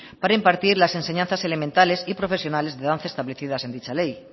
para impartir las enseñanzas elementales y profesionales de danza establecidas en dicha ley